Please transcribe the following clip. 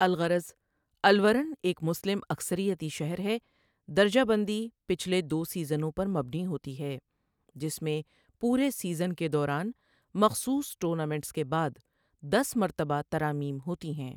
الغرض، الورن ایک مسلم اکثریتی شہر ہے درجہ بندی پچھلے دو سیزنوں پر مبنی ہوتی ہے، جس میں پورے سیزن کے دوران مخصوص ٹورنامنٹس کے بعد دس مرتبہ ترامیم ہوتی ہیں۔